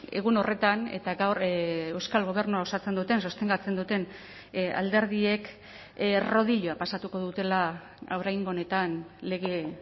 egun horretan eta gaur euskal gobernua osatzen duten sostengatzen duten alderdiek rodilloa pasatuko dutela oraingo honetan lege